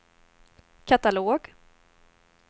katalog